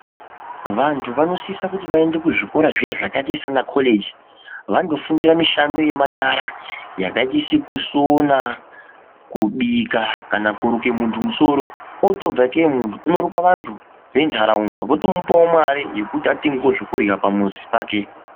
Vantu vanosisa kuti vaende kuzvikora zviya zvakaita sana koleji .Vanofundira mushando yemanyaray yakaita kusona ,kubika kana kuruke muntu musoro otobve kee muntu .Anootoruka vantu venharaunda votomupawo mari kuti atengewo zvekudya pamuzi pake .